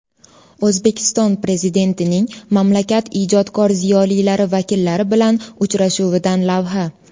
O‘zbekiston Prezidentining mamlakat ijodkor ziyolilari vakillari bilan uchrashuvidan lavha.